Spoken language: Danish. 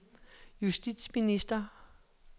justitsminister